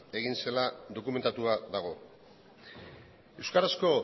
egin zela dokumentatua dago euskarazko